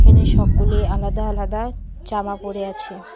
এখানে সকলে আলাদা আলাদা জামা পড়ে আছে।